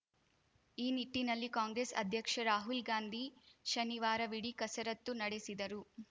ಈ ನಿಟ್ಟಿನಲ್ಲಿ ಕಾಂಗ್ರೆಸ್‌ ಅಧ್ಯಕ್ಷ ರಾಹುಲ್‌ ಗಾಂಧಿ ಶನಿವಾರವಿಡೀ ಕಸರತ್ತು ನಡೆಸಿದರು